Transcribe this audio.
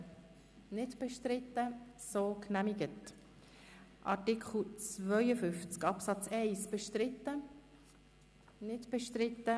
Sie haben den Antrag abgelehnt mit 94 Nein- zu 38 Ja-Stimmen bei 7 Enthaltungen.